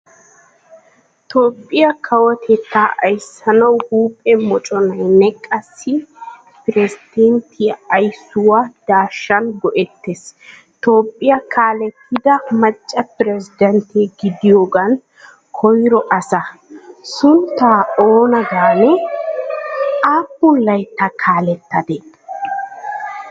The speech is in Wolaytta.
Toophphiyaa kawotettaa ayssanawu huuphphe mocconaynne qassi piresanttettay aysuwaa daashan goetees. Toophphiyaakaalettidaa macca persdenatte gidiyogan koyro asa. Suntta oona gaane? Appun laytta kaalettadee?